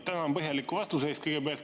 Tänan põhjaliku vastuse eest kõigepealt.